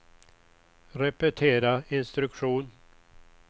repetera instruktion